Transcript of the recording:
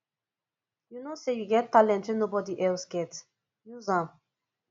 you know sey you get talent wey nobod else get use am